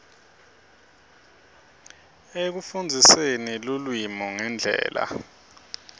ekufundziseni lulwimi ngendlela